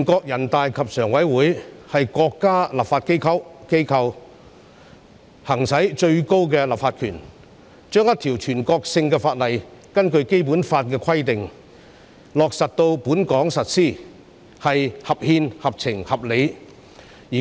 人大常委會是國家立法機構，行使最高的立法權，將一項全國性法律，根據《基本法》的規定，落實在本港實施，是合憲、合情、合理的。